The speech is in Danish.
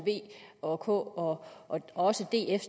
v og k og også df